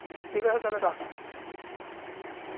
ঠিক আছে তালে রাখছি.